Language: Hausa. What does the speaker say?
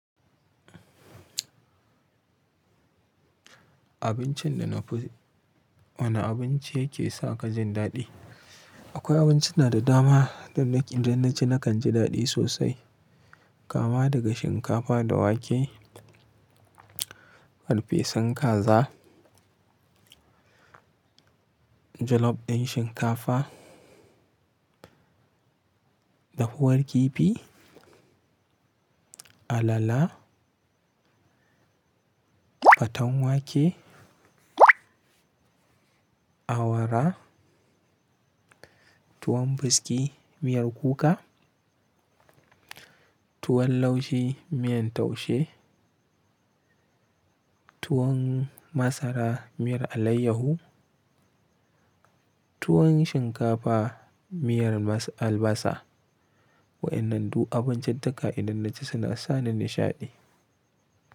Abincin da na fi, wane abinci ke sa ka jin daɗi? Akwai abinci na da dama da idan na ci nakan ji daɗi sosai. Kama daga shinkafa da wake, farfesun kaza, jollof ɗin shinkafa, da huwar kifi, alala, faten wake, awara, tuwon buski miyar kuka, tuwon laushi miyan taushe, tuwon masara miyar alayyahu, tuwon shinkafa miyar albasa. Wa'innan duk abinciccika idan na ci suna sa ni nishaɗi.